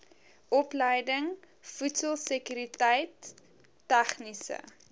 opleiding voedselsekuriteit tegniese